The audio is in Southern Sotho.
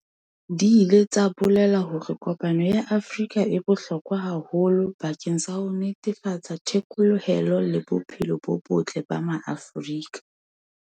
Di ile tsa bolela hore kopano ya Afrika e bohlokwa haholo bakeng sa ho netefatsa the kolohelo le bophelo bo botle ba Maafrika.